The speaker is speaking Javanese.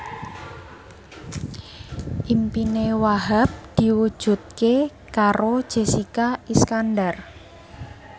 impine Wahhab diwujudke karo Jessica Iskandar